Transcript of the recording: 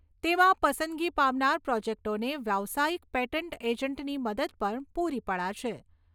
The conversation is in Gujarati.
તેમાં પસંદગી પામનાર પ્રોજેક્ટોને વ્યવસાયીક પેટન્ટ એજન્ટની મદદ પણ પૂરી પડાશે.